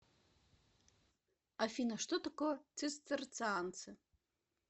афина что такое цистерцианцы